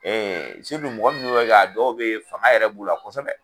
mɔgɔ minnu b'o kɛ a dɔw bɛ fanga yɛrɛ b'u la kosɛbɛ.